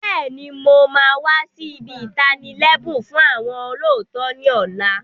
Bẹ́ẹ̀ni, mo máa wà sì ibi itani lẹbun fún àwọn olóòótọ́ ni ọ̀la.